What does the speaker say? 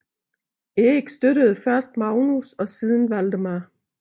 Erik støttede først Magnus og siden Valdemar